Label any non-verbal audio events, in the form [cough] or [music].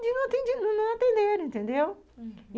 de não [unintelligible] atenderem, entendeu? Uhum.